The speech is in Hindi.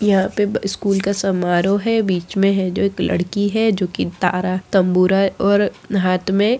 यहाँ पे ब स्कूल का समारोह है बीच में है जो एक लड़की है जो कि तारा तम्बूरा और हाथ में --